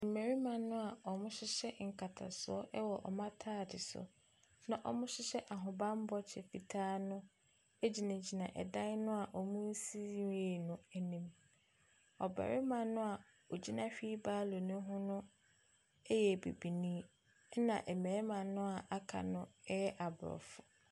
Mmarima noa wɔhyɛ nkatasoɔ wɔ wɔn ataade so no na wɔhyehyɛ ahobanbɔ kyɛ fitaa no egyinagyina ɛdan noa wɔnnsi wie yɛ n'anim. Ɔbarima noa ɔgyina wheel barrow ne ho no ɛyɛ bibinii ɛna mmarima noa aka no ɛyɛ abrɔfo.